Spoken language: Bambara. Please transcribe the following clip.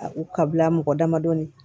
U ka bila mɔgɔ damadɔni